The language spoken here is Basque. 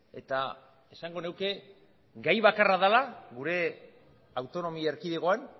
eta esango nuke gai bakarra dela gure autonomia erkidegoan